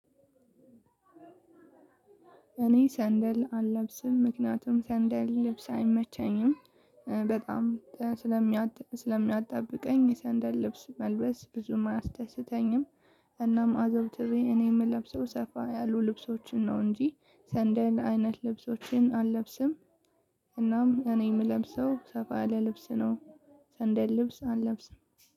እኔ ሰንደል አልለብስም ምክንያቱም ሰንደል ልብስ አይመቸኝም በጣም ስለሚያጥብ ስለሚያጣብቀኝ የሰንደል ልብስ መልበስ ብዙም አያስደስተኝም። እናም አዘውትሪ እኔ እምለብሰው ሰፋ ያሉ ልብሶችን ነው እንጂ ሰንደል አይነት ልብሶችን አለብስም። እናም እኔ እምለብሰው ሰፋ ያለ ልብስ ነው። ሰንደል ልብስ አለብስም